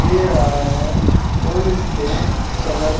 दे रहा है और इसका कलर --